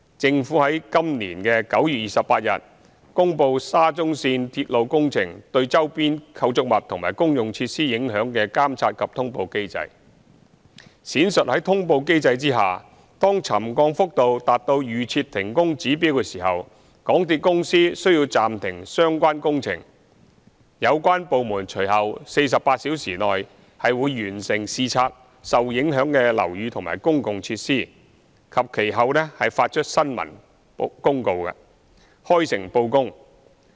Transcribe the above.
政府於今年9月28日公布沙中線鐵路工程對周邊構築物及公用設施影響的監察及通報機制，闡述在通報機制下，當沉降幅度達到預設停工指標時，港鐵公司需要暫停相關工程、有關部門於隨後48小時內會完成視察受影響的樓宇和公用設施及其後發出新聞公報，開誠布公。